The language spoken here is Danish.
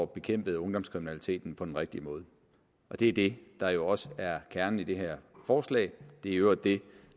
bekæmpet ungdomskriminaliteten på den rigtige måde det er det der jo også er kernen i det her forslag det er i øvrigt det